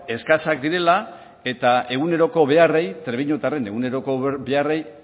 eskasak direla eta eguneroko beharrei trebiñotarren eguneroko beharrei